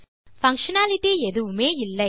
functionality எதுவுமே இல்லை